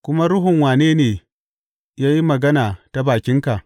Kuma ruhun wane ne ya yi magana ta bakinka?